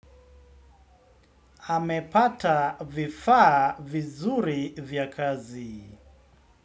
Amepata vifaa vizuri vya kazi.